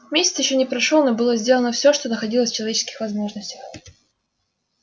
месяц ещё не прошёл но было сделано все что находилось в человеческих возможностях